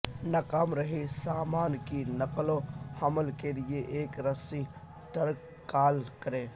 ناکام رہی سامان کی نقل و حمل کے لئے ایک رسی ٹرک کال کریں